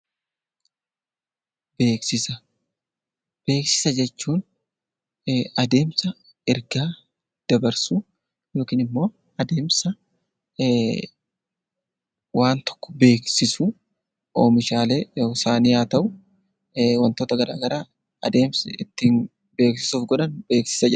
Beeksisa jechuun adeemsa ergaa dabarsuu yookiin immoo adeemsa waan tokko beeksisuu, oomishaalee isaanii haa ta'u, wantoota garaa garaa adeemsa ittiin beeksisuuf godhan beeksisa jedhama.